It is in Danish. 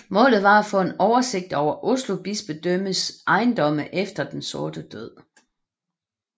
Målet var at få en oversigt over Oslo bispedømmes ejendomme efter Den Sorte Død